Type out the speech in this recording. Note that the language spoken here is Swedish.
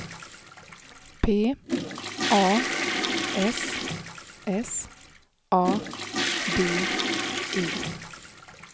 P A S S A D E